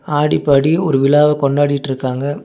ஆடி பாடி ஒரு விழாவ கொண்டாடிட்ருக்காங்க.